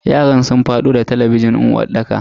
yaran sun fado da talabijin din uwarɗakar.